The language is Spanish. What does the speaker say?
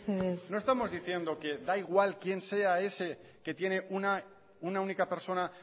mesedez no estamos diciendo que da igual quien sea ese que tiene una única persona